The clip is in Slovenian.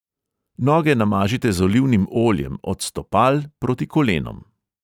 Noge namažite z olivnim oljem od stopal proti kolenom.